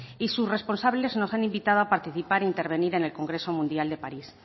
y sus responsables nos han invitado a participar e intervenir en el congreso mundial de parís